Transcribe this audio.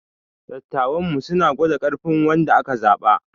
Dattawanmu suna gwada ƙarfin wanda aka zaba.